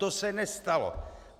To se nestalo.